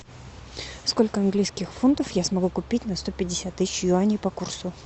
сколько английских фунтов я смогу купить на сто пятьдесят тысяч юаней по курсу